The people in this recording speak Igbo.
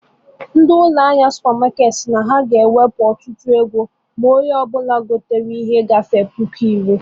Ndị ụlọ ahịa supermarketị si na ha ga ewepu ọtụtụ ego ma onye gote ike gahere narị puku iri